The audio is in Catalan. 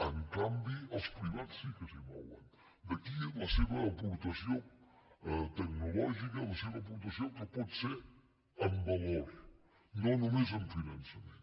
en canvi els privats sí que s’hi mouen d’aquí la seva aportació tecnològica la seva aportació que pot ser en valor no només en finançament